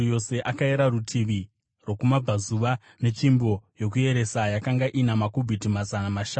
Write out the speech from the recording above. Akayera rutivi rwokumabvazuva netsvimbo yokuyeresa; yakanga ina makubhiti mazana mashanu.